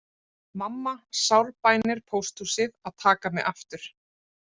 Mamma sárbænir pósthúsið að taka mig aftur